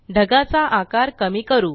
ढगाचा आकार कमी करू